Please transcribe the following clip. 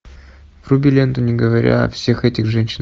вруби ленту не говоря о всех этих женщинах